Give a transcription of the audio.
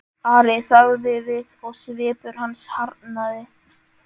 Ari þagði við og svipur hans harðnaði.